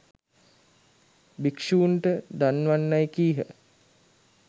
භික්ෂූන්ට දන්වන්නැයි කීහ.